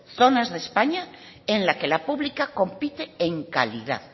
zonas de españas en las que la pública compite en calidad